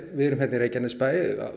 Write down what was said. við erum hérna í Reykjanesbæ